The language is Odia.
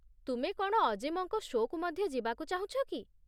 ତୁମେ କ'ଣ ଅଜିମଙ୍କ ସୋ'କୁ ମଧ୍ୟ ଯିବାକୁ ଚାହୁଁଛ କି?